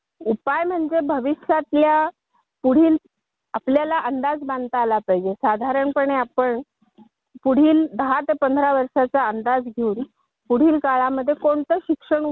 आगा तो आमच्या शेजारचा आकाश आहे ना तो तर चांगला बीसीएस झाला पण त्यालाही नोकरी नाही आहे ना ग.